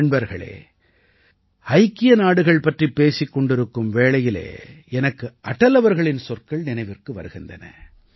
நண்பர்களே ஐக்கிய நாடுகள் பற்றிப் பேசிக் கொண்டிருக்கும் வேளையிலே எனக்கு அடல் அவர்களின் சொற்கள் நினைவிற்கு வருகின்றன